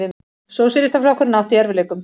Sósíalistaflokkurinn átti í erfiðleikum.